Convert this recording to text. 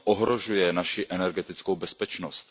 Ohrožuje naši energetickou bezpečnost.